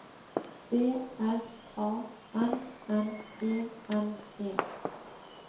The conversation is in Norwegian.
B R A N N E N E